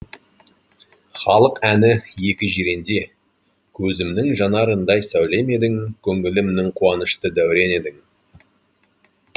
халық әні екі жиренде көзімнің жанарындай сәулем едің көңілімнің қуанышты дәурені едің